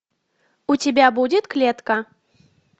у тебя будет клетка